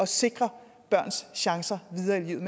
sikre børns chancer videre i livet